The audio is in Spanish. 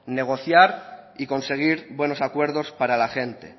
negociar y conseguir buenos acuerdos para la gente